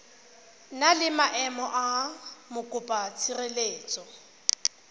na le maemo a mokopatshireletso